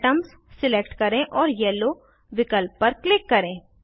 फिर atoms select करें और येलो विकल्प पर क्लिक करें